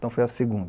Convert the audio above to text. Então foi a segunda.